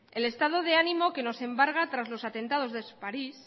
el estado de ánimo que nos embarga tras los atentados de parís